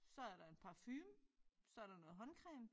Så er der en parfume så der noget håndcreme